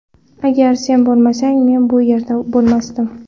Agar sen bo‘lmasang, men bu yerda bo‘lmasdim”.